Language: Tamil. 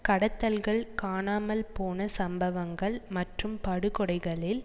கடத்தல்கள் காணாமல் போன சம்பவங்கள் மற்றும் படுகொடைகளில்